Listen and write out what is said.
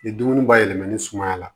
Ni dumuni bayɛlɛmanen sumaya la